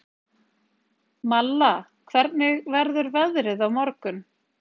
Malla, hvernig verður veðrið á morgun?